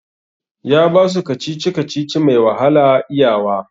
Ya basu kacici-kacici mai wahala iya wa